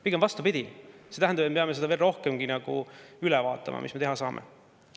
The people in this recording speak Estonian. Pigem vastupidi, see tähendab, et me peame veel rohkem üle vaatama, mis me teha saame.